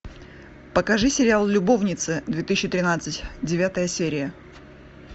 покажи сериал любовницы две тысячи тринадцать девятая серия